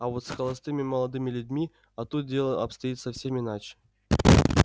а вот с холостыми молодыми людьми о тут дело обстоит совсем иначе